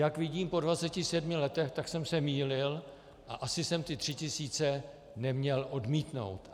Jak vidím po 27 letech, tak jsem se mýlil a asi jsem ty tři tisíce neměl odmítnout.